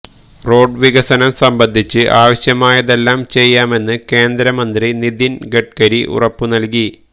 road വികസനം സംബന്ധിച്ച് ആവശ്യമായതെല്ലാം ചെയ്യാമെന്ന് കേന്ദ്രമന്ത്രി നിതിന് ഗഡ്കരി ഉറപ്പു നല്കി